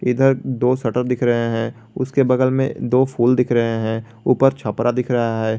इधर दो शटर दिख रहे हैं उसके बगल में दो फूल दिख रहे हैं ऊपर छपरा दिख रहा है।